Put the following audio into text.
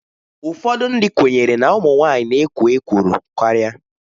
Ụfọdụ ndị kwenyere na ụmụ nwanyị na-ekwo ekworo karịa.